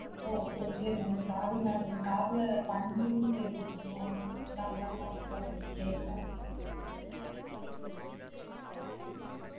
ஓ okay ma'am sorry ma'am என் காதுல பன்னின்னு கேட்டுச்சு ma'am அதுனால தான் ma'am கேட்~ கேட்டேன்